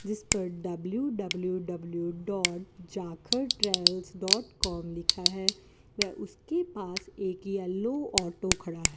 जीस पर W W W dot Jakhar travels dot com लिखा है व उसके पास एक येलो ऑटो खड़ा है।